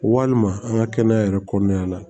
Walima an ka kɛnɛya yɛrɛ kɔnɔna la